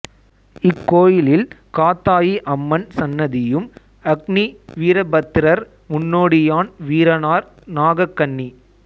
இக்கோயிலில் காத்தாயி அம்மன் சன்னதியும் அக்னி வீரபத்திரர் முன்னோடியான் வீரனார் நாகக்கண்ணி